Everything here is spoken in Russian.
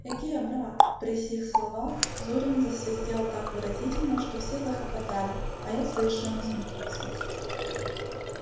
эге брат при сих словах зурин засвистел так выразительно что все захохотали а я совершенно смутился